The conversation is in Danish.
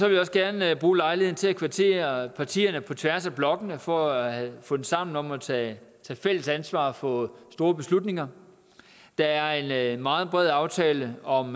jeg også gerne bruge lejligheden til at kvittere over partierne på tværs af blokkene for at have fundet sammen om at tage fælles ansvar for store beslutninger der er en meget bred aftale om